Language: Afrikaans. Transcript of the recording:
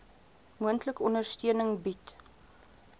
moontlik ondersteuning bied